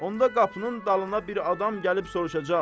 Onda qapının dalına bir adam gəlib soruşacaq: